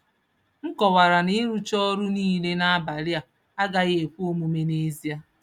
M kọwara na ịrụcha ọrụ niile n’abalị a agaghị ekwe omume n’ezie.